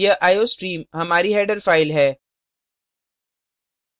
यह iostream हमारी header file है